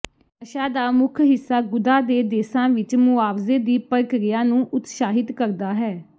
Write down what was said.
ਨਸ਼ਾ ਦਾ ਮੁੱਖ ਹਿੱਸਾ ਗੁਦਾ ਦੇ ਦੇਸਾਂ ਵਿਚ ਮੁਆਵਜ਼ੇ ਦੀ ਪ੍ਰਕਿਰਿਆ ਨੂੰ ਉਤਸ਼ਾਹਿਤ ਕਰਦਾ ਹੈ